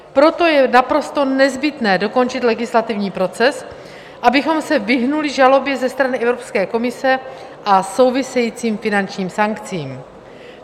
Proto je naprosto nezbytné dokončit legislativní proces, abychom se vyhnuli žalobě ze strany Evropské komise a souvisejícím finančním sankcím.